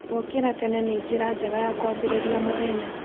Gũũkĩra tene nĩ njĩra njega ya kwambĩrĩria mũthenya.